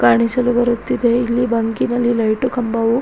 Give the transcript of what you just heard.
ಕಾಣಿಸಲು ಬರುತ್ತಿದೆ ಇಲ್ಲಿ ಬಂಕಿನಲ್ಲಿ ಲೈಟು ಕಂಬವು --